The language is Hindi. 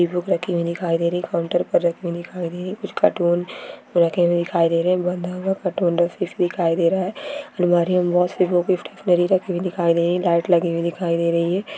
बुक रखी हुई दिखाई दे रही है | काउंटर पर रखी हुई दिखाई दे रही है |कुछ कार्टून रखे हुए दिखाई दे रहे हैं | बंधा हुआ कार्टून दिखाई दे रहा है | अलमारी में वॉश गिफ्ट सिनेरी रखे हुए दिखाई दे रही है | लाइट लगी हुई दिखाई दे रही है।